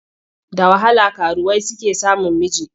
Da wahala karuwai suke samun miji.